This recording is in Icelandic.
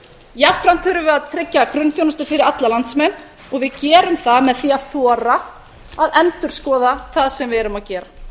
jafnframt þurfum við að tryggja grunnþjónustu fyrir alla landsmenn og við gerum það með því að þora að endurskoða það sem við erum að gera